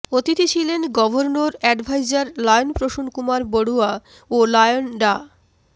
অতিথি ছিলেন governor adviser lion Prasun Kumar Barua ও লায়ন ডা